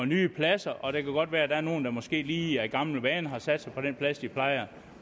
nye pladser og det kan godt være der er nogle der måske lige af gammel vane har sat sig på den plads de plejer